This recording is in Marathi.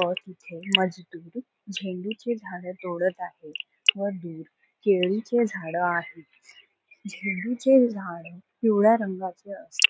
व तिथे मजदूर झेंडूचे झाड तोडत आहेत व दूर केळीचे झाड आहेत झेंडूचे झाडं पिवळ्या रंगाचे असतात.